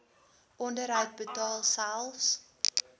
onderhoud betaal selfs